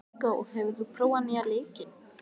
Viggó, hefur þú prófað nýja leikinn?